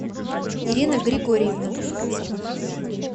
ирина григорьевна